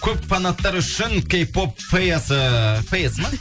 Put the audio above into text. көп фанаттар үшін кей поп фэясы фэясы ма